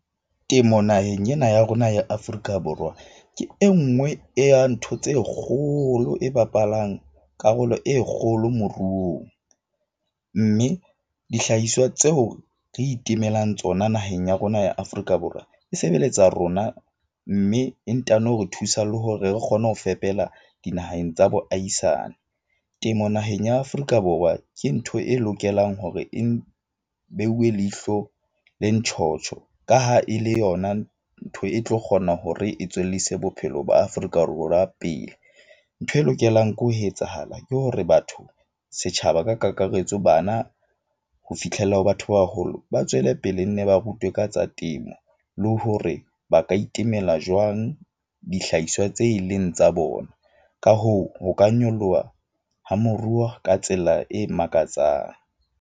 Temo naheng ena ya rona ya Afrika Borwa ke e nngwe ya ntho tse kgolo e bapalang karolo e kgolo moruong. Mme dihlahiswa tseo re itemelang tsona naheng ya rona ya Afrika Borwa e sebeletsa rona. Mme e ntano re thusa le hore re kgone ho fepela dinaheng tsa boaisane. Temo naheng ya Afrika Borwa ke ntho e lokelang hore e beuwe leihlo le ntjhotjho ka ha e le yona ntho e tlo kgona hore e tswellise bophelo ba Afrika Borwa pele. Ntho e lokelang ke ho etsahala ke hore batho setjhaba ka kakaretso bana, ho fitlhela ha batho ba baholo. Ba tswele pele nne ba rutwe ka tsa temo, le ho hore ba ka itemela jwang dihlahiswa tse leng tsa bona. Ka hoo ho ka nyoloha ha moruo ka tsela e makatsang.